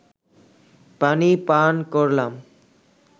পানি পান করলাম